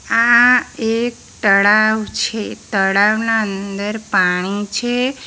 આ એક તળાવ છે તળાવના અંદર પાણી છે.